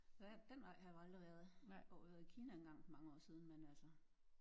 Ja den vej har vi aldrig været jo har været i Kina en gang for mange år siden men altså